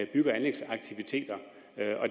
bygge og anlægsaktiviteter